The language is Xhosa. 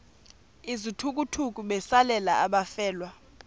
izithukuthuku besalela abafelwa